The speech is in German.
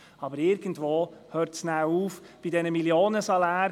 Aber irgendwo ist Schluss, nämlich bei den Millionensalären.